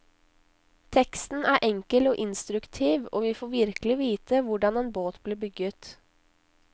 Teksten er enkel og instruktiv, og vi får virkelig vite hvordan en båt blir bygget.